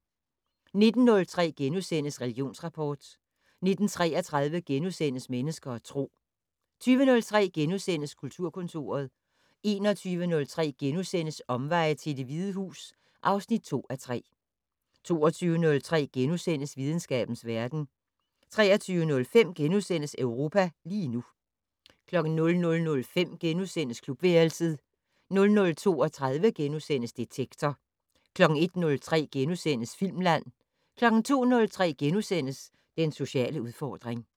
19:03: Religionsrapport * 19:33: Mennesker og Tro * 20:03: Kulturkontoret * 21:03: Omveje til Det Hvide Hus (2:3)* 22:03: Videnskabens verden * 23:05: Europa lige nu * 00:05: Klubværelset * 00:32: Detektor * 01:03: Filmland * 02:03: Den sociale udfordring *